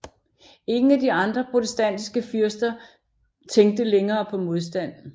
Ingen af de andre protestantiske fyrster tænkte længere på modstand